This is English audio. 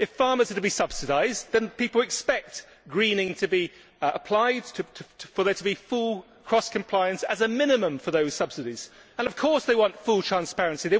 If farmers are to be subsidised, then people expect greening to be applied, for there to be full cross compliance as a minimum for those subsidies. And, of course, they want full transparency